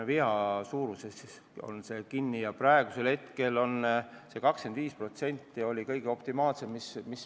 Praegu näeme tabelist, et 25% on optimaalne.